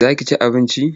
Za ki ci abinci?